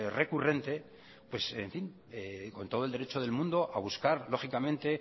recurrente con todo el derecho del mundo a buscar lógicamente